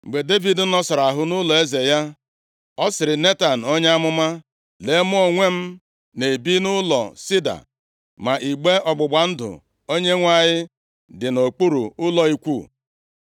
Mgbe Devid nọsara ahụ nʼụlọeze ya, ọ sịrị Netan onye amụma, “Lee, mụ onwe m na-ebi nʼụlọ sida, ma igbe ọgbụgba ndụ Onyenwe anyị dị nʼokpuru ụlọ ikwu.”